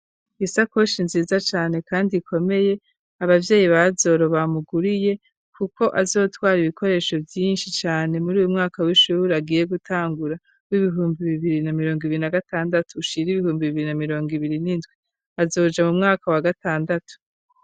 Isakoshi, nziza cane, kandi ikomeye, abavyeyi ba Bazoro, bamuguriye; kuko, azotwara ibikoresho, vyinshi cane, muri uyu mwaka w'ishuhure, agiye gutangura, w'ibihumbi bibiri, na mirongo ibiri, na gatandatu; ushira ibihumbi, bibiri na mirongo ibiri, n'indwi; azoja mu mwaka wa gatandatu.